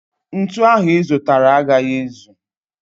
Ntu ahu I zutara a gaghi ezu.